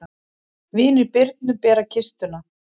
Vinir Birnu bera kistuna.